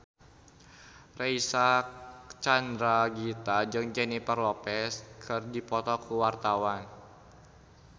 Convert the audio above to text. Reysa Chandragitta jeung Jennifer Lopez keur dipoto ku wartawan